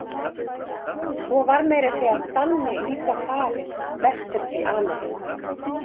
Svo var meira að segja Danni líka farinn vestur til Ameríku.